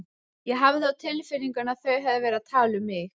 Ég hafði á tilfinningunni að þau hefðu verið að tala um mig.